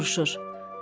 Gedəndə soruşur: